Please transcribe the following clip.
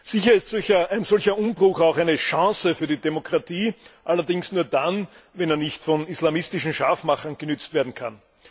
Sicher ist ein solcher ein Umbruch auch eine Chance für die Demokratie, allerdings nur dann, wenn er nicht von islamistischen Scharfmachern genützt werden kann.